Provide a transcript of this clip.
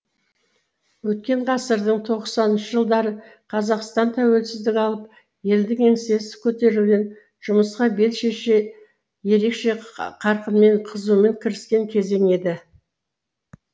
өткен ғасырдың тоқсаныншы жылдары қазақстан тәуелсіздік алып елдің еңсесі көтерілген жұмысқа бел шеше ерекше қарқынмен қызумен кіріскен кезең еді